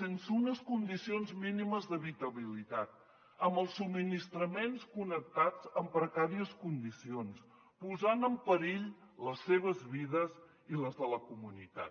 sense unes condicions mínimes d’habitabilitat amb els subministraments connectats en precàries condicions posant en perill les seves vides i les de la comunitat